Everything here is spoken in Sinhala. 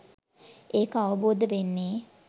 ඒක අවබෝධ වෙන්නේ